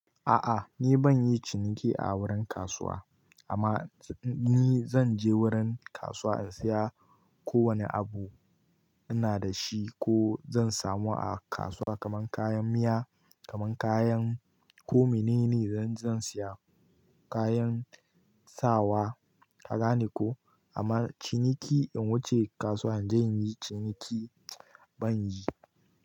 A'a ni banyin ciniki a wurin kasuwa amma ni zan je wurin kasuwa in siya ko wane abu ina da shi ko zan samu a kasuwa kaman kayan miya, kaman kayan ko menene zan siya kayan sawa kagane ko amma ciniki in wuce kasuwa in je inyi ciniki ban yi.